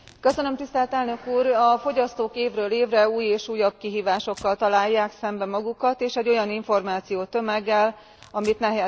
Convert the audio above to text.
A fogyasztók évről évre új és újabb kihívásokkal találják szemben magukat, és egy olyan információtömeggel, amit nehezen tudnak kezelni.